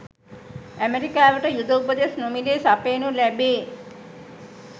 ඇමරිකාවට යුධ උපදෙස් නොමිලේ සපයනු ලැබේ